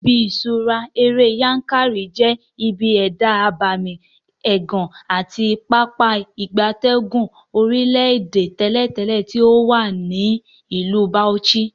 Ibi ifiṣura ere Yankari je ibi eda abemi egan ati Pápá ìgbatẹ́gùn orile-ede teletele ti owa ni Ilu Bauchi.